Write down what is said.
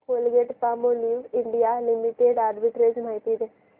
Colgate Palmolive India limited arbitrage माहिती दे